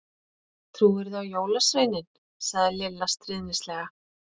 Trúirðu á jólasveininn? sagði Lilla stríðnislega.